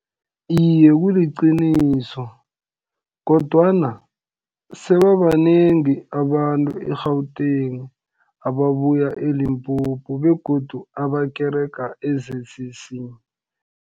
Iye kuliqiniso, kodwana sebabanengi abantu e-Gauteng, ababuye e-Limpopo, begodu abakerega e-Z_C_C.